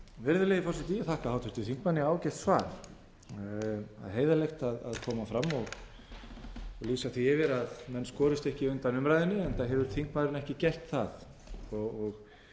virðulegi forseti ég þakka háttvirtum þingmanni ágætt svar það er heiðarlegt að koma fram og lýsa því yfir að menn skorist ekki undan umræðunni enda hefur þingmaðurinn ekki gert það og